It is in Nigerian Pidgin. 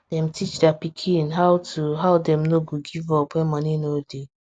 dem teach dia pikin how to how dem no go give up when money no dey